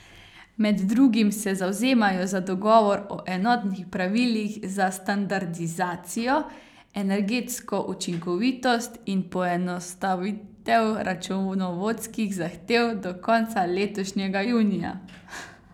Med drugim se zavzemajo za dogovor o enotnih pravilih za standardizacijo, energetsko učinkovitost in poenostavitev računovodskih zahtev do konca letošnjega junija.